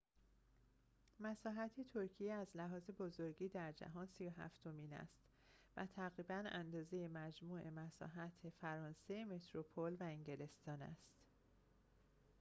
مساحت ترکیه از لحاظ بزرگی در جهان ۳۷ ام است و تقریباً اندازه مجموع مساحت فرانسه متروپل و انگلستان است